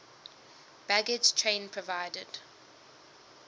baggage train provided